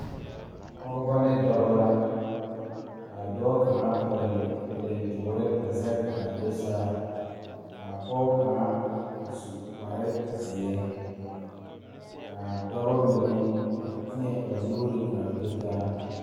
Pɔgeba kaa pɔge kaŋ su kpare doɔre kaa dɔɔ meŋ be a ba niŋe saŋ a su Gaana falakyɛ kpare a seɛ Gaana falakyɛ kuri ka o nu bonyene a biŋ teŋa kyɛ teɛ a nu kaŋa meŋ a dɔɔ maale la pata.